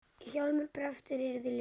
Hjálmar prestur yrkir ljóð.